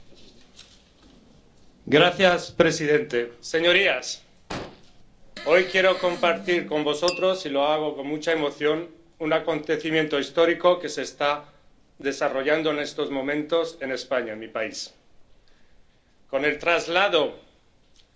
Señor presidente, señorías, hoy quiero compartir con ustedes y lo hago con mucha emoción, un acontecimiento histórico que se está desarrollando en estos momentos en España, mi país, con el traslado, con todas las garantías